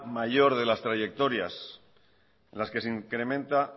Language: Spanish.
mayor de las trayectorias en las que se incrementa